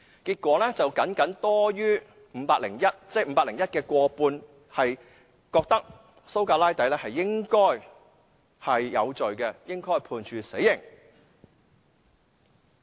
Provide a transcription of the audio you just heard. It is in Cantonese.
結果 ，501 名市民的僅僅過半數認為蘇格拉底應該有罪，應該被判處死刑。